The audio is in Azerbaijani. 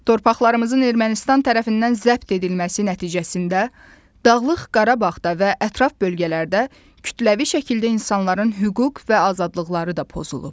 Torpaqlarımızın Ermənistan tərəfindən zəbt edilməsi nəticəsində Dağlıq Qarabağda və ətraf bölgələrdə kütləvi şəkildə insanların hüquq və azadlıqları da pozulub.